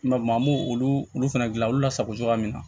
maa m'o olu olu olu fɛnɛ gilan olu la sago cogoya min na